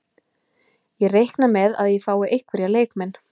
Ég reikna með að ég fái einhverja leikmenn.